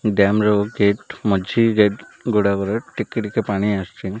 Dam ର gate ମଝିରେ ଗୁଡ଼ାବର ଅଛି ଟିକେ ଟିକେ ପାଣି ଆସୁଚି।